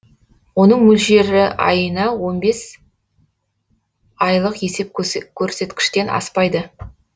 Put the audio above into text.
оның мөлшері айына он бес айлық есептегіш көрсеткіштен аспайды